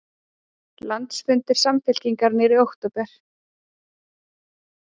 Landsfundur Samfylkingar í október